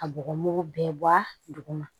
Ka bɔgɔ mugu bɛɛ bɔ a duguma